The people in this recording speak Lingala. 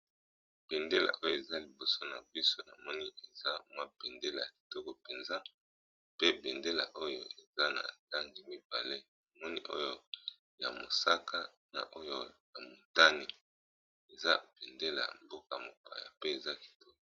Bendélé oyo toyali komono libiso na biso awa, ezali béndélé ya mboka mopaya